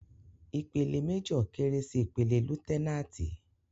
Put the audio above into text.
Ìpele méjọ̀ kéré sí ìpele lutẹnáàtì.